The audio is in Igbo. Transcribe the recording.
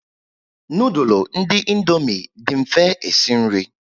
Nudulu ndi indomii dị mfe esi nri.